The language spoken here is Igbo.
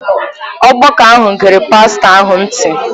Ọgbakọ ahụ gere pastọ ahụ ntị.